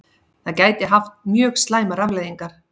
Það gæti haft mjög slæmar afleiðingar